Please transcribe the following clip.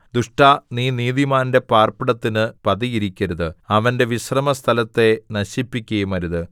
ദുഷ്ടാ നീ നീതിമാന്റെ പാർപ്പിടത്തിന് പതിയിരിക്കരുത് അവന്റെ വിശ്രാമസ്ഥലത്തെ നശിപ്പിക്കുകയുമരുത്